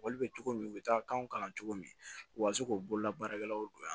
Wali bɛ cogo min u bɛ taa kanw kalan cogo min u ka se k'u bolola baarakɛlaw don yan